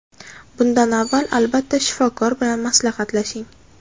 Bundan avval albatta shifokor bilan maslahatlashing.